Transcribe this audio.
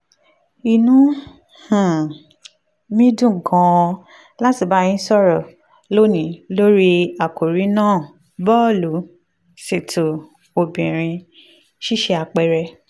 inú um mi dùn gan-an láti bá yín sọ̀rọ̀ lónìí lórí àkòrí náà bọ́ọ̀lù-ṣètò obìnrin: ṣíṣe àpẹẹrẹ